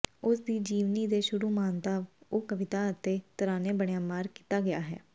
ਉਸ ਦੀ ਜੀਵਨੀ ਦੇ ਸ਼ੁਰੂ ਮਾਨਤਾ ਉਹ ਕਵਿਤਾ ਅਤੇ ਤਰਾਨੇ ਬਣਾਇਆ ਮਾਰਕ ਕੀਤਾ ਗਿਆ ਹੈ